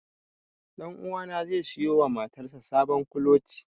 Ɗanuwa na zai siyo wa motar sa sabon kuloci.